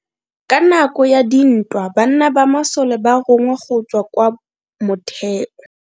Ka nako ya dintwa banna ba masole ba rongwa go tswa kwa motheo.